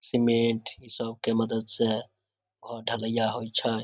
Cement इ सब के मदद स घर ढलैया होइ छई।